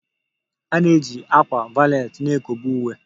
A na-eji ákwà valet na-ekobe uwe